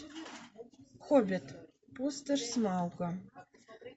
хоббит пустошь смауга